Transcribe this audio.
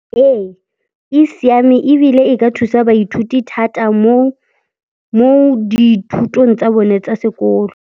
Ee, e siame ebile e ka thusa baithuti thata mo dithutong tsa bone tsa sekolo.